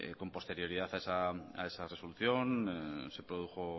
con posterioridad a esa resolución se produjo